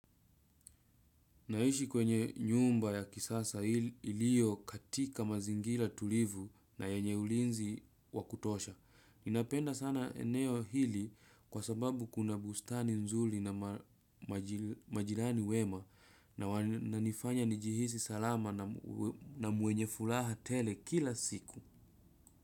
Naishi kwenye nyumba ya kisasa ilio katika mazingira tulivu na yenye ulinzi wakutosha. Ninapenda sana eneo hili kwa sababu kuna bustani nzuri na majirani wema na wananifanya nijihisi salama na mwenye furaha tele kila siku.